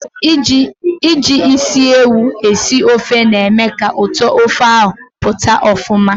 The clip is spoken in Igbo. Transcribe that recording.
Iji isi ewu esi ofe na-eme ka ụtọ ofe ahụ pụta ọfụma.